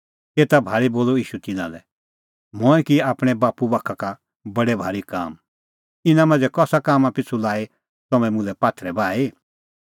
एता भाल़ी बोलअ ईशू तिन्नां लै मंऐं किऐ आपणैं बाप्पू बाखा का बडै भारी काम इना मांझ़ै कसा कामां पिछ़ू लाई तम्हैं मुल्है पात्थरै बाही